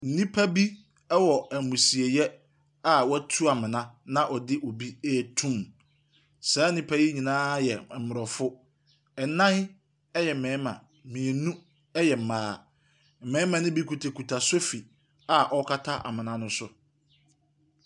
Nnipa bi wɔ ammusieɛ a wɔatu amena a wɔde obi reto mu. Saa nnipa yi nyinaa yɛ mmorɔfo. Nan yɛ mmarima. Num yɛ mmaa. Mmarima nobi kuta so a ɔrekata amena no so.